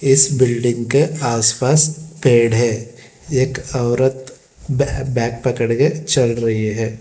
इस बिल्डिंग के आस पास पेड़ है एक औरत बैग पकड़ के चल रही है।